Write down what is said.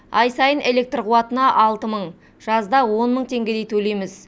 ай сайын электр қуатына алты мың жазда он мың теңгедей төлейміз